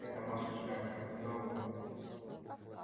это ваша шляпка сказал он